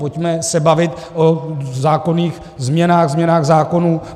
Pojďme se bavit o zákonných změnách, změnách zákonů.